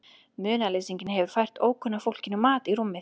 Munaðarleysinginn hefur fært ókunna fólkinu mat í rúmið.